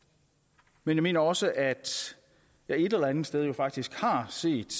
men jeg mener også at jeg et eller andet sted faktisk har set